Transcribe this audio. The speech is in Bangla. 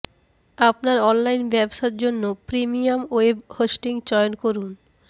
আপনার অনলাইন ব্যবসা জন্য প্রিমিয়াম ওয়েব হোস্টিং চয়ন করুন